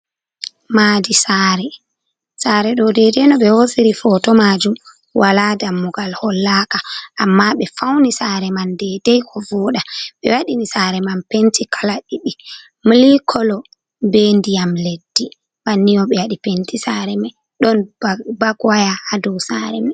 Maadi saare ɗo dei dei no be hosiri poto majum wala dammugal hollaka amma ɓe fauni saare man dei dei ko vooda ɓe waɗini saare man penti kala ɗiɗi milik kolo be ndiyam leddi banni on ɓe waɗi penti saare mai ɗon bag waya ha dou saare mai.